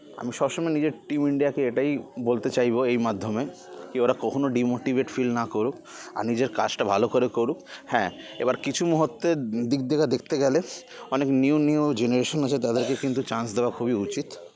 আমি সবসময় নিজের team ইন্ডিয়াকে এটাই বলতে চাইবো এই মাধ্যমে কি ওরা কখনো de-motivate feel না করুক আর নিজের কাজটা ভালো করে করুক হ্যা এবার কিছু মুহুর্তের দিগ থেকে দেখতে গেলে অনেক new new generation আছে তাদেরকে কিন্তু chance দেওয়া খুবই উচিত